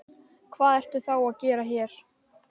Hvað ertu þá að gera hér?